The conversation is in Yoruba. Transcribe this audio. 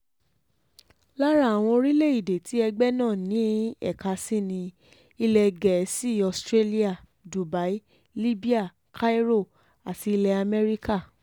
lára àwọn orílẹ̀‐èdè tí ẹgbẹ́ náà ní ẹ̀ka sí ni ilẹ̀ gẹ̀ẹ́sì australia dubai libya cairo àti ilẹ̀ amẹ́ríkà